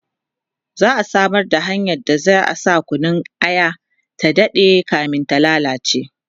za'a Samar da hanyar da zai sa Kunun aya ta Dade kamin ta lallace